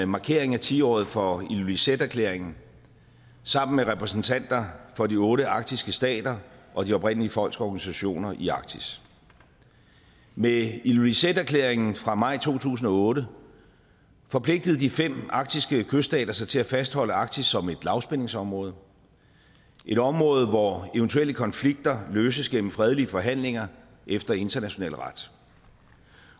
markering af ti året for ilulissaterklæringen sammen med repræsentanter for de otte arktiske stater og de oprindelige folks organisationer i arktis med ilulissaterklæringen fra maj to tusind og otte forpligtede de fem arktiske kyststater sig til at fastholde arktis som et lavspændingsområde et område hvor eventuelle konflikter løses gennem fredelige forhandlinger efter international ret